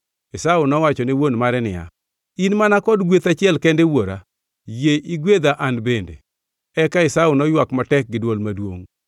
Esau nowacho ne wuon mare niya, “In mana kod gweth achiel kende wuora? Yie igwedha an bende!” Eka Esau noywak matek gi dwol maduongʼ.